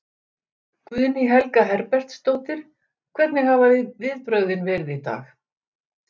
Guðný Helga Herbertsdóttir: Hvernig hafa viðbrögðin verið í dag?